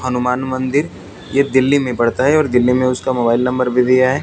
हनुमान मंदिर ये दिल्ली में पड़ता है और दिल्ली में उसका मोबाइल नंबर भी दिया है।